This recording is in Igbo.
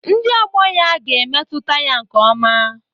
Ndị ọgbọ ya ga-emetụta ya nke ọma